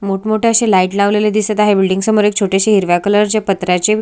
मोठ मोठी अशी लाईट लावलेली दिसत आहे बिल्डिंग समोर एक छोटीसी हिरव्या कलर च्या पत्र्याचे--